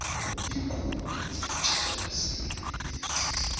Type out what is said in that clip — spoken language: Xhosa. iinkumbi zilitshabalalisile ilizwe